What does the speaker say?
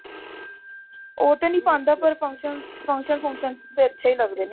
ਉਹ ਤੇ ਪਾਉਂਦਾ ਪਰ function function ਚ ਤਾਂ ਅੱਛੇ ਹੀ ਲੱਗਦੇ ਨੇ